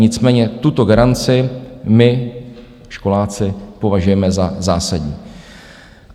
Nicméně tuto garanci my školáci považujeme za zásadní.